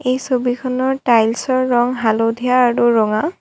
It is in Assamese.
এই ছবিখনত টাইলছৰ ৰং হালধীয়া আৰু ৰঙা।